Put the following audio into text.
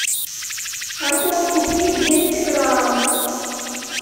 картошку фри двести грамм